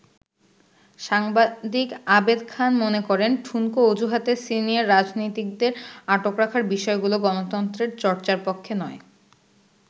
সাংবাদিক আবেদ খান মনে করেন, ঠুনকো অজুহাতে সিনিয়র রাজনীতিকদের আটক রাখার বিষয়গুলো গণতন্ত্রের চর্চার পক্ষে নয়।